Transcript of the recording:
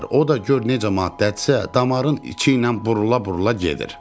O da gör necə maddədirsə, damarın içi ilə burula-burula gedir.